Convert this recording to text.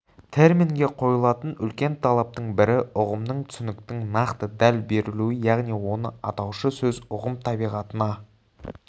терминге қойылатын үлкен талаптың бірі ұғымның түсініктің нақты дәл берілуі яғни оны атаушы сөз ұғым табиғатына